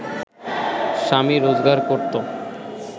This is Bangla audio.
স্বামী রোজগার করত